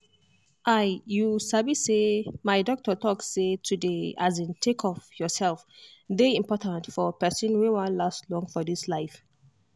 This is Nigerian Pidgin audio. i you sabi say as my doctor talk say to dey um take of yourself dey important for pesin wey won last long for this life